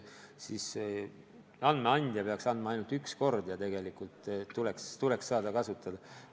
Andmeid tuleks anda ainult üks kord ja pärast seda tuleks saada neid kasutada.